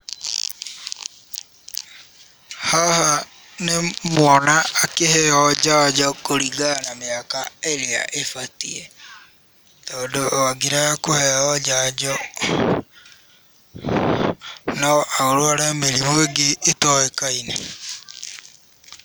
Haha nĩ mwana akĩheyo njanjo kũringana na mĩaka ĩrĩa ĩbatiĩ, tondũ angĩrega kũheyo njanjo no arware mĩrimũ ĩngĩ ĩtowĩkaine.